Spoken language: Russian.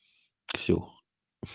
ксюх